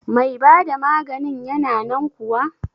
Mai bada maganin yana nan kuwa?